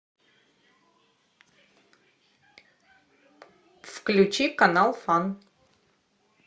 включи канал фан